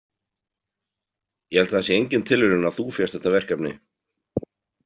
Ég held að það sé engin tilviljun að þú fékkst þetta verkefni.